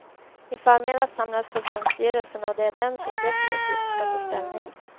I förmiddags samlades förbundsstyrelsen och det är den som definitivt ska ta ställning.